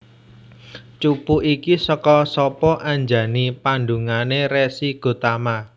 Cupu iki saka sapa Anjani pandanguné Resi Gotama